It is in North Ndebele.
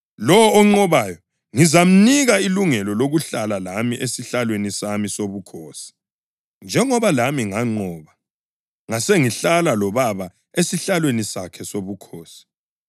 Lowo onqobayo, ngizamnika ilungelo lokuhlala lami esihlalweni sami sobukhosi, njengoba lami nganqoba ngasengihlala loBaba esihlalweni sakhe sobukhosi.